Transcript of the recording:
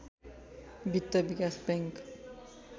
वित्त विकास बैंक